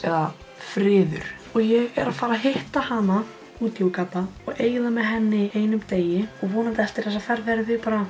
eða friður og ég er að fara hitta hana úti í Úganda og eyða með henni einum degi vonandi eftir þessa ferð verðum við bara